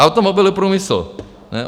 Automobilový průmysl?